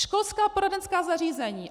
Školská poradenská zařízení.